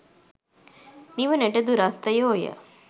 නිවනට දුරස්ථයෝ ය.